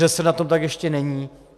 ŘSD na tom tak ještě není.